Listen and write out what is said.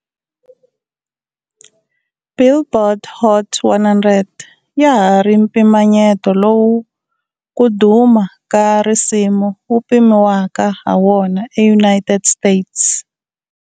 "Billboard" Hot 100 ya ha ri mpimanyeto lowu ku duma ka risimu ku pimiwaka ha wona eUnited States.